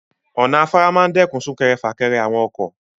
Ọ̀nà afárá máa ń dẹ́kun sún-kẹrẹ-fà-kẹrẹ àwọn ọkọ.